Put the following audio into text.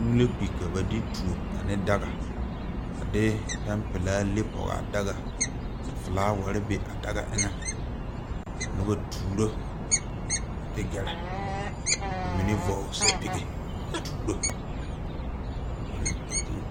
Kūū la kpi ka ba de tuo ane daga a de pɛn pelaa le pɔgaa daga ka flaawarre be a daga eŋɛ ka nobɔ tuuro a ti gɛrɛ ba mine vɔgle sɛpige a tuuro a kūū.